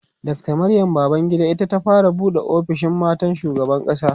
Dr Maryam Babangida ita ta fara buɗe ofishin matan shugaban ƙasa